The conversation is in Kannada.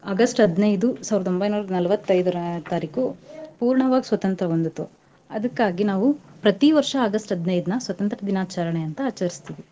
August ಹದಿನೈದು ಸಾವರ್ದ ಒಂಬೈನೂರ ನಾಲ್ವತ್ ಐದರ ತಾರೀಕು ಪೂರ್ಣವಾಗಿ ಸ್ವತಂತ್ರ್ಯ ಹೊಂದ್ತು. ಅದಕ್ಕಾಗಿ ನಾವೂ ಪ್ರತೀ ವರ್ಷ August ಹದಿನೈದ್ನ ಸ್ವತಂತ್ರ್ಯ ದಿನಾಚರಣೆ ಅಂತ ಆಚರಿಸ್ತೀವಿ.